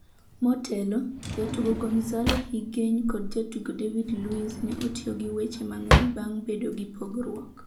Motelo, jatugo Gonzalo Higuain kod jatugo David Luiz ne otiyo gi weche mang’eny bang’ bedo gi pogruok.